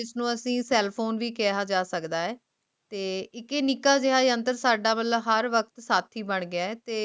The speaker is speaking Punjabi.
ਜਿਸਨੂੰ ਅੱਸੀ cell phone ਵੀ ਕਿਹਾ ਜਾਂਦਾ ਹੈ ਤੇ ਇਕ ਸਾਦਾ ਹਰ ਵਕ਼ਤ ਸਾਥੀ ਹੈ ਬਣ ਗਯਾ ਹੈ ਤੇ ਅਜੇ ਦੀ ਤੇਜ਼ਜ਼ ਰਫਤਾਰ ਤੇ ਉਲਝਣਾਂ ਭਾਰੀ ਜ਼ਿੰਦਗੀ ਦੇ ਵਿਚ